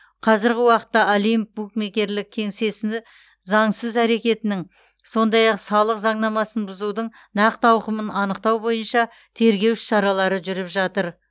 қазіргі уақытта олимп букмекерлік кеңсесі заңсыз әрекетінің сондай ақ салық заңнамасын бұзудың нақты ауқымын анықтау бойынша тергеу іс шаралары жүріп жатыр